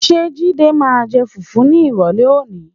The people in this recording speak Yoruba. Ṣé Jídé máa jẹ fùfú ní ìrọ̀lẹ́ òní?